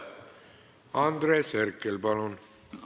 Andres Herkel, palun!